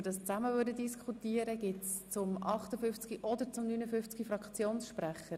Wünscht jemand zu den Traktanden 58 oder 59 das Wort?